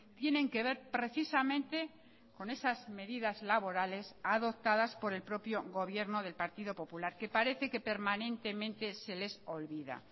tienen que ver precisamente con esas medidas laborales adoptadas por el propio gobierno del partido popular que parece que permanentemente se les olvida